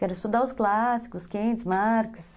Que era estudar os clássicos, Keynes, Marx.